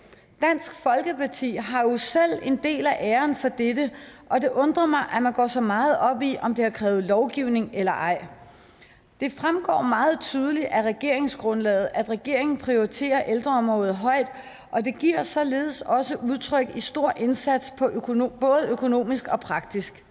dansk folkeparti har jo selv en del af æren for dette og det undrer mig at man går så meget op i om det har krævet lovgivning eller ej det fremgår meget tydeligt af regeringsgrundlaget at regeringen prioriterer ældreområdet højt og det giver sig således også udtryk i en stor indsats både økonomisk og praktisk